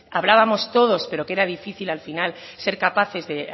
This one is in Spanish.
hablábamos todos pero que era difícil al final ser capaces de